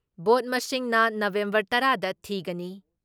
Vote ꯃꯁꯤꯡꯅ November ꯇꯔꯥ ꯗ ꯊꯤꯒꯅꯤ ꯫